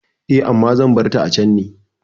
Eh, amma zan barta a can ne.